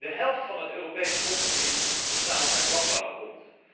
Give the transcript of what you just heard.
De helft van het Europees grondgebied bestaat uit landbouwgrond.